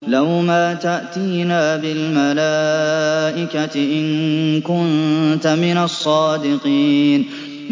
لَّوْ مَا تَأْتِينَا بِالْمَلَائِكَةِ إِن كُنتَ مِنَ الصَّادِقِينَ